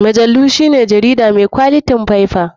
Majalu shine jarida mai kwalitin faiffa.